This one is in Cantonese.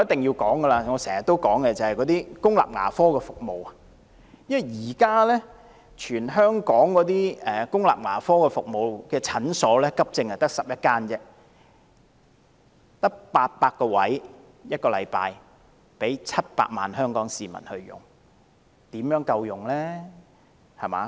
現時在全港公立牙科診所中，只有11間提供急症服務，名額每星期只有800個，供700萬名香港市民使用，試問又怎會足夠呢？